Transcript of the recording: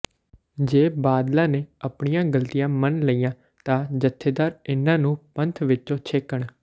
ਜੇ ਬਾਦਲਾਂ ਨੇ ਆਪਣੀਆਂ ਗਲਤੀਆਂ ਮੰਨ ਲਈਆਂ ਤਾਂ ਜਥੇਦਾਰ ਇੰਨਾਂ ਨੂੰ ਪੰਥ ਵਿਚੋਂ ਛੇਕਣ